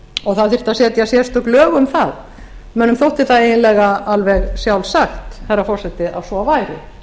og það þyrfti að setja sérstök lög um það mönnum þótti það eiginlega alveg sjálfsagt herra forseti að svo væri